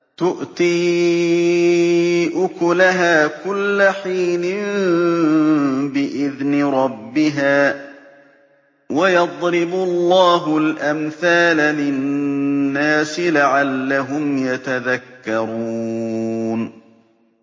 تُؤْتِي أُكُلَهَا كُلَّ حِينٍ بِإِذْنِ رَبِّهَا ۗ وَيَضْرِبُ اللَّهُ الْأَمْثَالَ لِلنَّاسِ لَعَلَّهُمْ يَتَذَكَّرُونَ